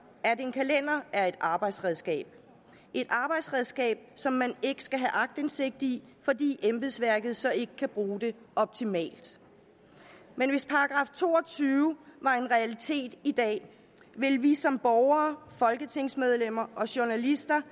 at en kalender er et arbejdsredskab et arbejdsredskab som man ikke skal have aktindsigt i fordi embedsværket så ikke kan bruge det optimalt men hvis § to og tyve var en realitet i dag ville vi som borgere folketingsmedlemmer og journalister